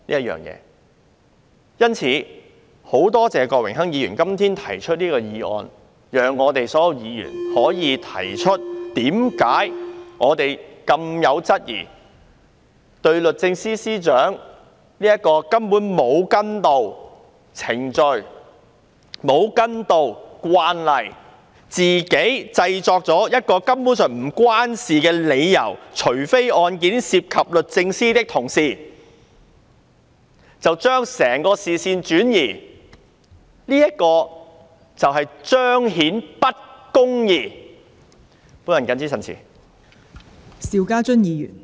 因此，我很多謝郭榮鏗議員今天提出這項議案，讓所有議員可質疑律政司司長為何沒有跟從程序、沒有根據慣例，反而自行制作一個根本無關的理由，說除非案件涉及律政司的同事，把整個視線轉移，使公義不能彰顯。